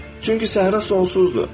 Çünki səhra sonsuzdur.